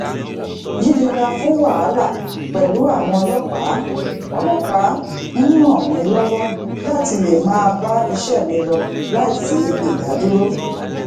yiyera fún wahala pèlú àwọn ọlópàá ọlópàá n ran mi lowo lati lè máa bá iṣé mi lọ láìsi idadúró